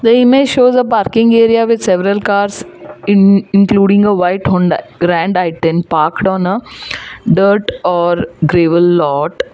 the image shows a parking area with several cars in including a white honda grand parked on a dirt or gravel lot.